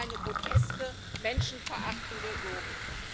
Was für eine groteske, menschenverachtende Logik!